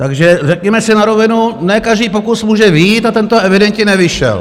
Takže řekněme si na rovinu, ne každý pokus může vyjít, a tento evidentně nevyšel.